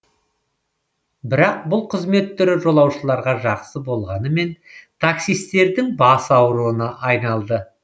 бірақ бұл қызмет түрі жолаушыларға жақсы болғанымен таксисттердің бас аурына айналды